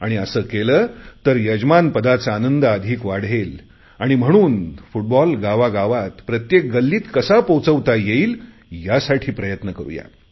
आणि असे केले तर यजमानपदाचा आनंद अधिक वाढेल आणि म्हणून फुटबॉल गावागावात प्रत्येक गल्लीत कसा पोहचवता येईल यासाठी प्रयत्न करु या